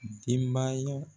denbaya